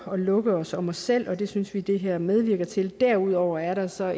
at lukke os om os selv og det synes vi det her medvirker til derudover er der så